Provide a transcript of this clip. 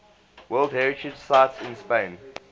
world heritage sites in spain